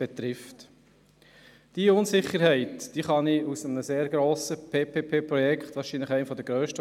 Diese Unsicherheit kann aufgrund eines grossen PPP-Projekts nachvollzogen werden.